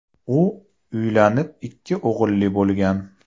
U uylanib, ikki o‘g‘illi bo‘lgan.